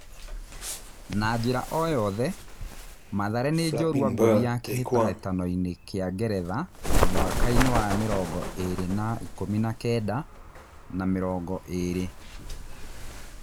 Na njĩ ra o yothe, Mathare nĩ njorua ngũthi ya kĩ tahĩ tanoinĩ kĩ a Ngeretha mwakainĩ wa ngiri igĩ rĩ na , ikũmi na kenda na mĩ rongo ĩ rĩ .